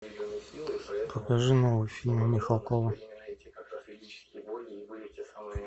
покажи новый фильм михалкова